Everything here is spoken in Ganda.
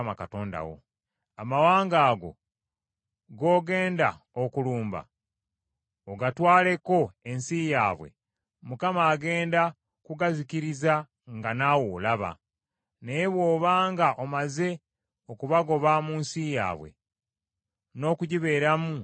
Amawanga ago g’ogenda okulumba ogatwaleko ensi yaabwe, Mukama agenda kugazikiriza nga naawe olaba. Naye bw’obanga omaze okubagoba mu nsi yaabwe, n’okugibeeramu n’ogibeeramu,